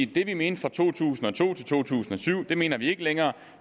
det de mente fra to tusind og to til to tusind og syv mener de ikke længere